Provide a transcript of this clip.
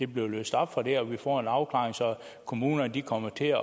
bliver løst op for det og vi får en afklaring så kommunerne kommer til